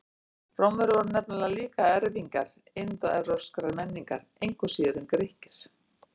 Rómverjar voru nefnilega líka erfingjar indóevrópskrar menningar, engu síður en Grikkir.